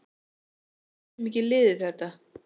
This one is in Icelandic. Við getum ekki liðið þetta.